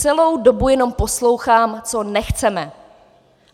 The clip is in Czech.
Celou dobu jenom poslouchám, co nechceme.